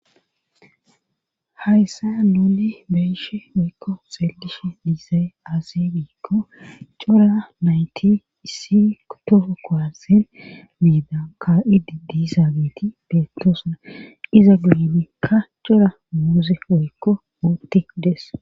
hayssa nuuni beyishe woykko xeellishe diizay aaze giikko cora nayti issi kotofo koasen miida ka'idi diizaabeeti beettoosna iza guyimekka cora muuze woykko uti dees